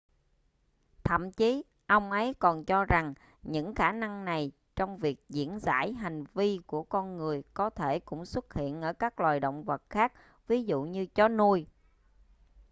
thậm chí ông ấy còn cho rằng những khả năng này trong việc diễn giải hành vi của con người có thể cũng xuất hiện ở các loài động vật khác ví dụ như chó nuôi